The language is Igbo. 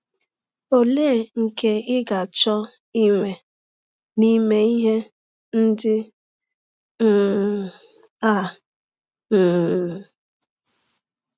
Ọlee nke ị ga - achọ inwe n’ime ihe ndị um a um?